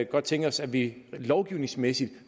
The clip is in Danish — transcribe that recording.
godt tænke os at vi lovgivningsmæssigt